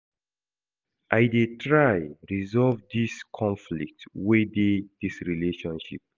I dey try resolve di conflict wey dey dis relationship.